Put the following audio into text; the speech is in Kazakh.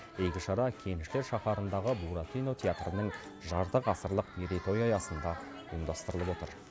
игі шара кеншілер шаһарындағы буратино театрының жарты ғасырлық мерейтойы аясында ұйымдастырылып отыр